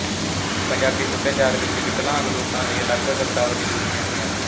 ਪੰਜਾਬੀ ਸੱਭਿਆਚਾਰ ਵਿੱਚ ਵਿਕਲਾਂਗ ਲੋਕਾਂ ਲਈ ਅਲੱਗ ਸ਼ਬਦਾਬਲੀ ਬੋਲੀ ਜਾਂਦੀ ਹੈ